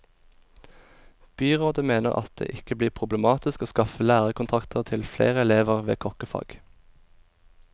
Byrådet mener at det ikke blir problematisk å skaffe lærekontrakter til flere elever ved kokkefag.